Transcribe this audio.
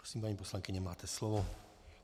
Prosím, paní poslankyně, máte slovo.